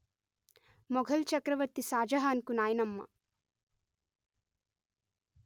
మొఘల్ చక్రవర్తి షాజహాన్ కు నాయనమ్మ